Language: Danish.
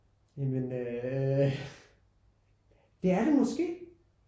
Ja men øh det er det måske